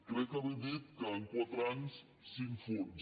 crec haver dit que en quatre anys cinc fons